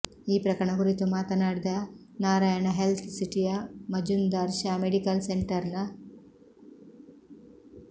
ಈ ಪ್ರಕರಣ ಕುರಿತು ಮಾತನಾಡಿದ ನಾರಾಯಣ ಹೆಲ್ತ್ ಸಿಟಿಯ ಮಜುಂದಾರ್ ಶಾ ಮೆಡಿಕಲ್ ಸೆಂಟರ್ನ